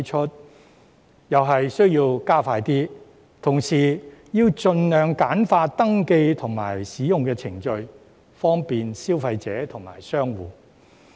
相關工作同樣要加快，還要盡量簡化登記和使用程序，方便消費者和商戶。